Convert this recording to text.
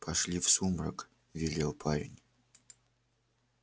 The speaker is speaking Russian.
пошли в сумрак велел парень